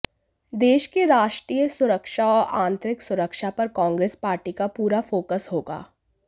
देश की राष्ट्रीय सुरक्षा और आतंरिक सुरक्षा पर कांग्रेस पार्टी का पूरा फोकस होगा